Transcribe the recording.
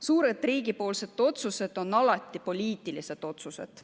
Suured riigi otsused on alati poliitilised otsused.